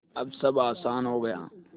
अब सब आसान हो गया